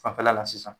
Fanfɛla la sisan